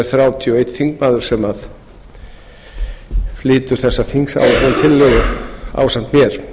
þrjátíu og einn þingmaður sem flytur þessa þingsályktunartillögu ásamt mér